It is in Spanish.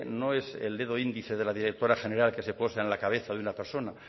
no es el dedo índice de la directora general que se posa en la cabeza de una persona